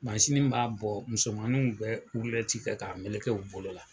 Masini b'a bɔ musomaniw bɛ rulɛti kɛ k'a meleke u bolo la.